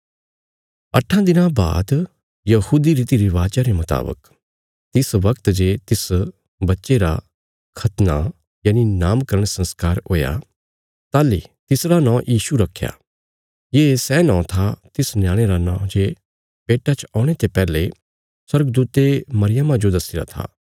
अट्ठां दिनां बाद यहूदी रीतिरिवाजा रे मुतावक तिस बगत जे तिस बच्चे रा खतना नामकरण संस्कार हुया ताहली तिसरा नौं यीशु रखया ये सै नौं था तिस न्याणे रा नौं जे पेट्टा च औणे ते पैहले स्वर्गदूते मरियमा जो दस्सीरा था